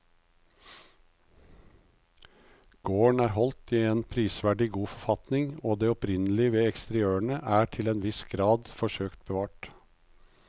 Gården er holdt i en prisverdig god forfatning og det opprinnelige ved eksteriørene er til en viss grad forsøkt bevart.